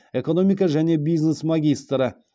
экономика және бизнес магистрі